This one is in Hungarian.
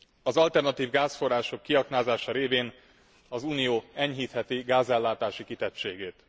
Az alternatív gázforrások kiaknázása révén az Unió enyhítheti gázellátási kitettségét.